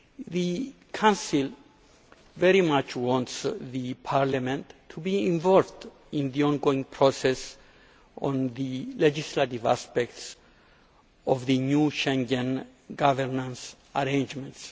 The Council very much wants the Parliament to be involved in the ongoing process on the legislative aspects of the new Schengen governance arrangements.